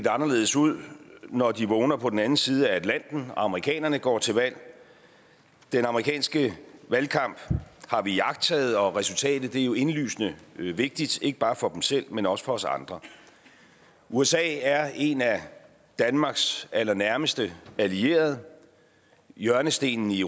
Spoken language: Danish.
anderledes ud når de vågner på den anden side af atlanten amerikanerne går til valg den amerikanske valgkamp har vi iagttaget og resultatet er jo indlysende vigtigt ikke bare for dem selv men også for os andre usa er en af danmarks allernærmeste allierede hjørnestenen i